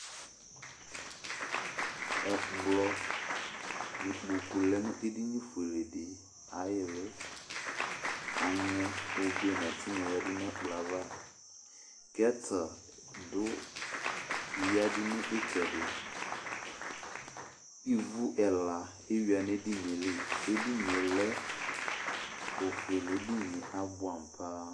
Ɛkplɔ nʋ ikpoku lɛ nʋ edini fuele di ayʋ ili Aŋɛ obe nʋ ɛtɩnyɔ di yǝdu nʋ ɛkplɔ yɛ ava gɛta duyǝdu nʋ ɩtsɛdɩ Ivu ɛla eyʋa nʋ edinɩ yɛ li Edini yɛ lɛ ofuele Edini yɛ abʋɛ amʋ paa